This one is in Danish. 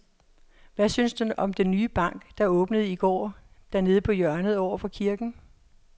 Hvad synes du om den nye bank, der åbnede i går dernede på hjørnet over for kirken?